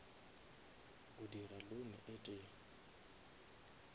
a dira loan e tee